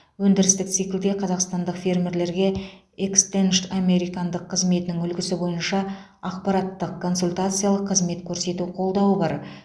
өндірістік циклде қазақстандық фермерлерге экстеншн американдық қызметінің үлгісі бойынша ақпараттық консультациялық қызмет көрсету қолдауы бар